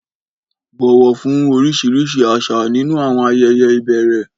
Bọ̀wọ̀ fún oríṣiríṣi àṣà nínú àwọn ayẹyẹ ìbẹ̀rẹ̀.